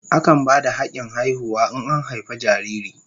Akan ba da hakin haihuwa in an haife jariri.